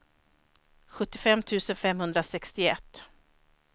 sjuttiofem tusen femhundrasextioett